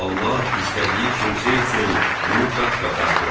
Allah istədiyi kimsə üçün bunu qat-qat artırar.